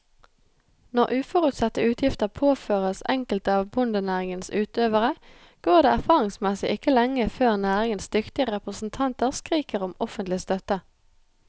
Når uforutsette utgifter påføres enkelte av bondenæringens utøvere, går det erfaringsmessig ikke lenge før næringens dyktige representanter skriker om offentlig støtte.